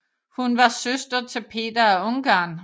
Hun var søster til Peter af Ungarn